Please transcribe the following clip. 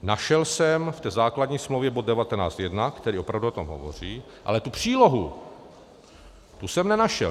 Našel jsem v té základní smlouvě bod 19.1, který opravdu o tom hovoří, ale tu přílohu, tu jsem nenašel.